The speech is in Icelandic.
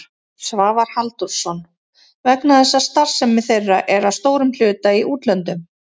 Svavar Halldórsson: Vegna þess að starfsemi þeirra er að stórum hluta í útlöndum?